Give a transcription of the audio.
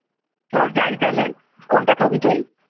চল যাই তাহলে কোনটা খাবি তুই?